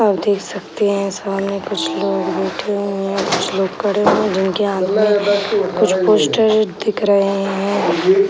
आप देख सकते है सामने कुछ लोग बैठे हुए हैं कुछ लोग खड़े हुए हैं जिनके हाथ में कुछ पोस्टर्स दिख रहे हैं।